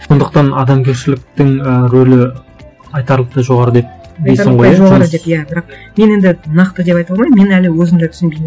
сондықтан адамгершіліктің ы ролі айтарлықтай жоғары деп дейсің ғой иә бірақ мен енді нақты деп айта алмаймын мен әлі өзім де түсінбеймін